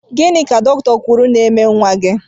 Gịnị ka dọkịta kwụrụ ná -eme nwa gị?